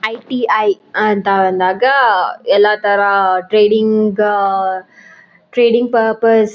ITI ಅಂತ ಅಂದಾಗ ಎಲ್ಲಾ ತರ ಟ್ರೇಡಿಂಗ್ ಅಹ್ ಟ್ರೇಡಿಂಗ್ ಪರ್ಪಸ್ --